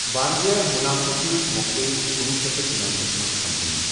واریاہ منافعہٕ سۭتۍ مۄکلیے کنُوُہ شیتھ تہٕ شُنمتھس منٛز کمپنی۔